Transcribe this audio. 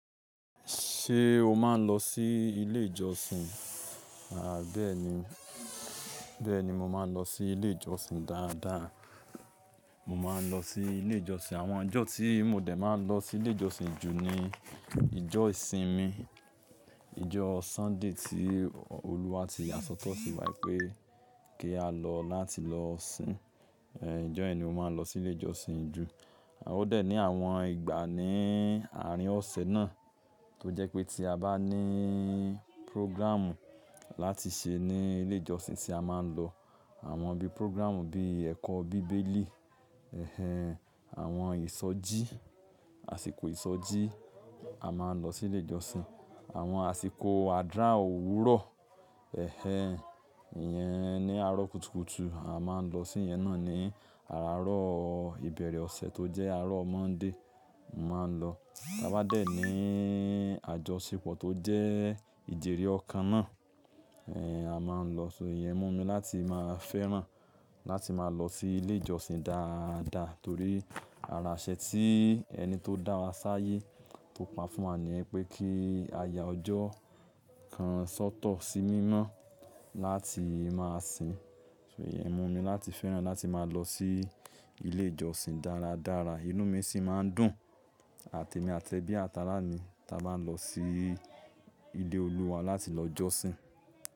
Ṣé o máa ń lọ sí ilé ìjọsìn? À bẹ́ẹ̀ni, bẹ́ẹ̀ni mo máa ń lọ sí ilé ìjọsìn dáadáa. Mo máa ń lọ sí ilé ìjọsìn. Àwọn ọjọ́ tí mo dẹ̀ máa ń lọ sí ilé ìjọsìn ju ni ìjọ ìsinmi, ìjọ Sunday tí olúwa ti yasọ́tọ̀ fun wa pé kí á lọ láti lọ sìn. Ẹ̀ ìjọ́ ẹ ni mo máa ń lọ sí ilé ìjọsìn ju. A ò dẹ̀ ní àwọn ìgbà ní àárín ọ̀sẹ̀ náà tó jẹ́ pé tí a bá ní program láti ṣe ní ilé ìjọsìn ṣe a máa ń lọ. Àwọn bí program bí ẹ̀kọ́ bíbélì, ẹhẹ̀n, àwọn ìsọjí, àsìkò ìsọjí a máa ń lọ sí ilé ìjọsìn. Àwọn àsìkò àdura òwúrọ̀, ẹhẹ̀n, ìyẹn ni àárọ̀ kùtùkùtù a máa ń lọ sí yẹn náà ní àárọ̀ ìbẹ̀rẹ̀ ọ̀sẹ̀ tó jẹ́ àárọ̀ Monday, mo máa ń lọ. Bá bà dé ní àjọṣepọ̀ tó jẹ́ ìjèrè ọ̀kan náà, ẹ́ a máa ń lọ síi. Ìyẹn mú mi láti máa fẹ́ràn láti máa lọ sí ilé ìjọsìn dáadáa torí ara aṣe tí ẹni tó dá wa sáyé tó pa fún wa ní ẹ pé kí aya ọjọ́ kan ṣọ́tọ̀ sí mímọ́ láti máa sìn. Ìyẹn mú mi láti fẹ́ràn láti máa lọ sí ilé ìjọsìn dáradára. Inú mi sì máa ń dùn àti emi ati ẹ́bí àta arà mi tí a bá ń lọ sí ilé olúwa láti lọ jọ́sìn.